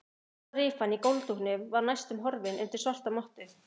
Stóra rifan í gólfdúknum var næstum horfin undir svarta mottu.